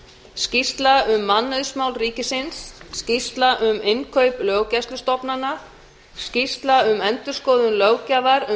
skýrsla um mannauðsmál ríkisins önnur skýrsla um innkaup löggæslustofnana þriðja skýrsla um endurskoðun löggjafar um